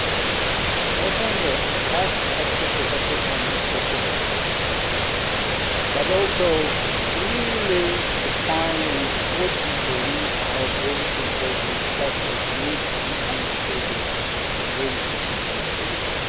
with not only as objective an assessment as possible, but also clearly defining what we believe are those important steps which need to be taken to bring a peaceful solution.